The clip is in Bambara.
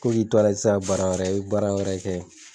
Ko k'i tora i ti se ka baara wɛrɛ kɛ E bi baara wɛrɛ kɛ